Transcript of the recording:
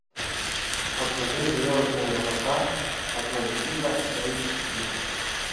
покажи звездные врата атлантида эйч ди